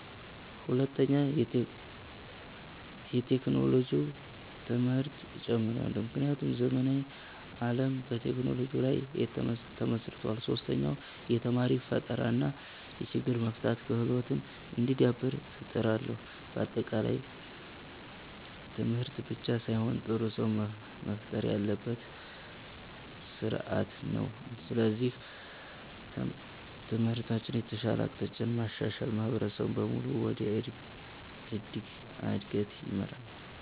ሁለተኛ፣ የቴክኖሎጂ ትምህርት እጨምራለሁ፣ ምክንያቱም ዘመናዊ ዓለም በቴክኖሎጂ ላይ ተመስርቷል። ሶስተኛ፣ የተማሪ ፈጠራ እና የችግር መፍታት ክህሎት እንዲዳብር እጥራለሁ። በአጠቃላይ ትምህርት ብቻ ሳይሆን ጥሩ ሰው መፍጠር ያለበት ስርዓት ነው። ስለዚህ ትምህርትን ከተሻለ አቅጣጫ ማሻሻል ማህበረሰብን በሙሉ ወደ እድገት ይመራል።